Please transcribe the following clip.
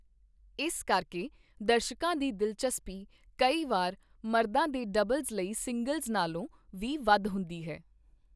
ਇਸ ਕਰਕੇ, ਦਰਸ਼ਕਾਂ ਦੀ ਦਿਲਚਸਪੀ ਕਈ ਵਾਰ ਮਰਦਾਂ ਦੇ ਡਬਲਜ਼ ਲਈ ਸਿੰਗਲਜ਼ ਨਾਲੋਂ ਵੀ ਵੱਧ ਹੁੰਦੀ ਹੈ।